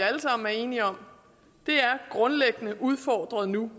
alle sammen er enige om er grundlæggende udfordret nu